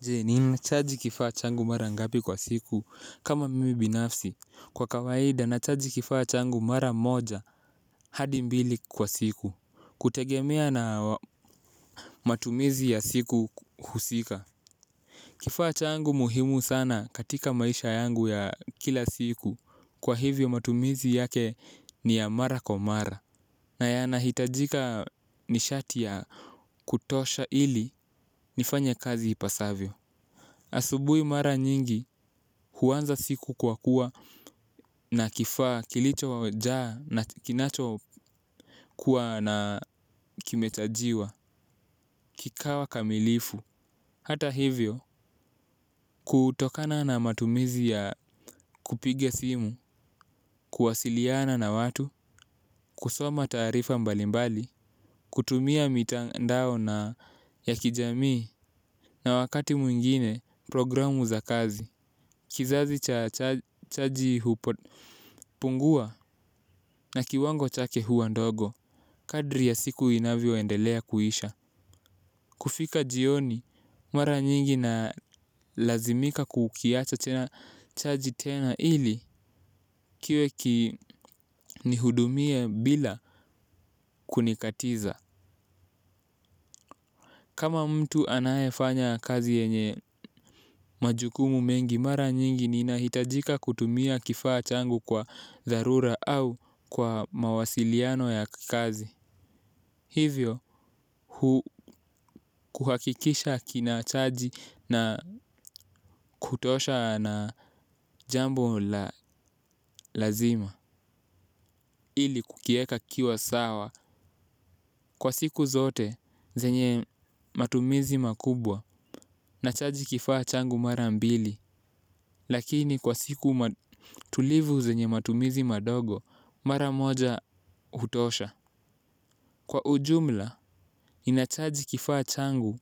Je ni nachaji kifaa changu mara ngapi kwa siku kama mimi binafsi kwa kawaida nachaji kifaa changu mara moja hadi mbili kwa siku kutegemea na matumizi ya siku husika. Kifaa changu muhimu sana katika maisha yangu ya kila siku kwa hivyo matumizi yake ni ya mara kwa mara. Na yanahitajika ni shati ya kutosha ili nifanye kazi ipasavyo. Asubuhi mara nyingi huanza siku kwa kuwa na kifaa kilicho jaa na kinacho kuwa na kimechajiwa, kikawa kamilifu. Hata hivyo, kutokana na matumizi ya kupiga simu, kuwasiliana na watu, kusoma taarifa mbalimbali, kutumia mitandao na ya kijamii na wakati mwingine programu za kazi. Kizazi cha chaji hupo pungua na kiwango chake huwa ndogo, kadri ya siku inavyo endelea kuisha. Kufika jioni, mara nyingi na lazimika kukiacha tena chaji tena ili kiwe kinihudumie bila kunikatiza. Kama mtu anayefanya kazi yenye majukumu mengi mara nyingi ninahitajika kutumia kifaa changu kwa dharura au kwa mawasiliano ya kazi hivyo hu hakikisha kina chaji ya kutosha na jambo la lazima. Ili kukiweka kiwa sawa kwa siku zote zenye matumizi makubwa na chaji kifaa changu mara mbili. Lakini kwa siku tulivu zenye matumizi madogo mara moja hutosha. Kwa ujumla inachaji kifaa changu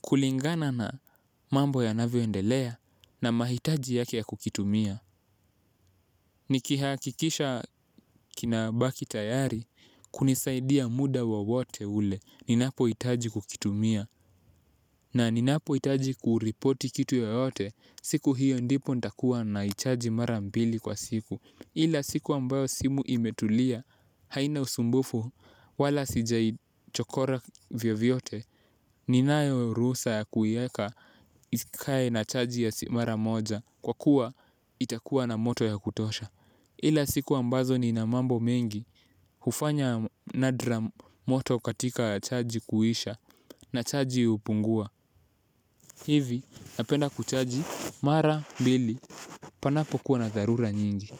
kulingana na mambo yanavyoendelea na mahitaji yake ya kukitumia. Nikiha kikisha kinabaki tayari kunisaidia muda wowote ule. Ninapo hitaji kukitumia na ninapo hitaji kuripoti kitu yoyote. Siku hiyo ndipo ndakuwa na ichaji mara mbili kwa siku. Ila siku ambayo simu imetulia haina usumbufu wala sijai chokora vyovyote. Ninayo ruhjsa ya kuweka ikae na chaji ya si mara moja kwa kuwa itakuwa na moto ya kutosha ila siku ambazo nina mambo mengi. Hufanya nadra moto katika chaji kuisha. Na chaji hupungua. Hivi napenda kuchaji mara mbili. Panapokuwa na dharura nyingi.